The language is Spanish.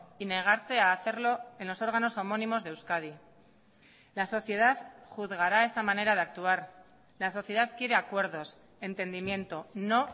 y negarse a hacerlo en los órganos homónimos de euskadi la sociedad juzgará esta manera de actuar la sociedad quiere acuerdos entendimiento no